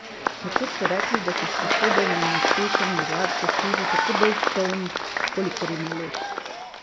Nekoč so rekli, da si sposoben in uspešen možak zasluži tako dolg čoln, kolikor ima let.